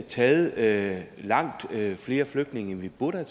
taget langt flere flygtninge end vi burde